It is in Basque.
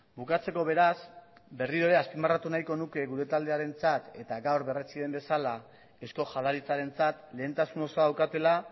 bukatzeko beraz berriro ere azpimarratu nahiko nuke gure taldearentzat eta gaur berretsi den bezala eusko jaurlaritzarentzat lehentasun osoa daukatela